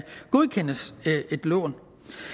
godkendes til et lån